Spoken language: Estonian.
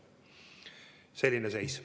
Selline on seis.